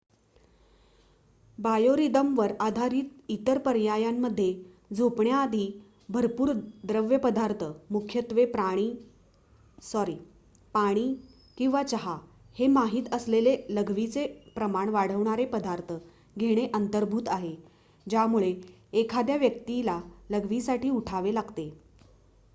बायोरिदमवर आधारित इतर पर्यायांमध्ये झोपण्याआधी भरपूर द्रवपदार्थ मुख्यत्वे पाणी किंवा चहा हे माहित असलेले लघवीचे प्रमाण वाढवणारे पदार्थ घेणे अंतर्भूत आहे ज्यामुळे एखाद्या व्यक्तीला लघवीसाठी उठावे लागते